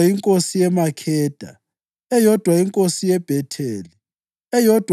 inkosi yeMakheda, eyodwa inkosi yeBhetheli, eyodwa